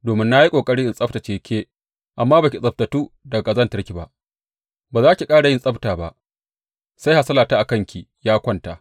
Domin na yi ƙoƙari in tsabtacce ke amma ba ki tsabtattu daga ƙazantarki ba, ba za ki ƙara yin tsabta ba sai hasalata a kanki ya kwanta.